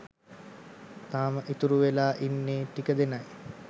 තාම ඉතුරු වෙලා ඉන්නේ ටික දෙනයි.